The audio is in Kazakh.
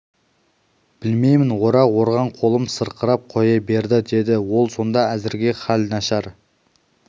білмеймін орақ орған қолым сырқырап қоя берді деді ол сонда әзірге хәл нашар